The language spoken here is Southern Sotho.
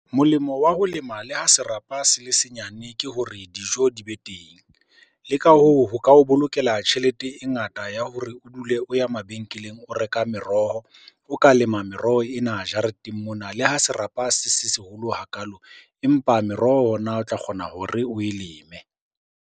Molemo wa ho lema le ha serapa se le senyane ke hore dijo di be teng. Le ka hoo, ho ka o bolokela tjhelete e ngata ya hore o dule o ya mabenkeleng o reka meroho. O ka lema meroho ena jareteng mona le ha serapa se seholo hakalo, empa meroho ona o tla kgona hore oe leme.